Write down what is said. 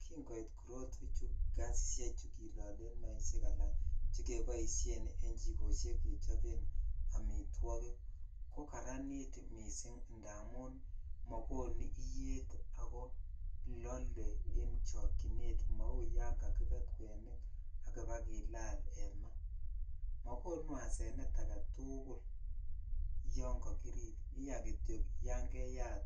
Kingoit korotwechu gasisiechu kilolen maisiek alan che keboisien en chikosiek kechoben amitwogik, ko kararanit mising ndamun makonu iyet ako lole en chokchinet mau yon kakibet kwenik akiba kilal en ma, makonu asenet ake tugul yon kakirip, iya kityo yan keyat